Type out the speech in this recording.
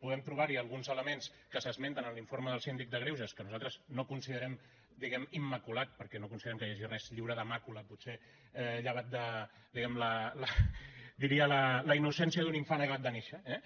podem trobar hi alguns elements que s’esmenten en l’informe del síndic de greuges que nosaltres no considerem diguem ne immaculat perquè no considerem que hi hagi res lliure de màcula potser llevat de diguem ne la innocència d’un infant acabat de néixer eh